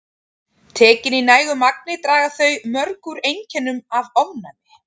Tekin í nægu magni draga þau mjög úr einkennum af ofnæmi.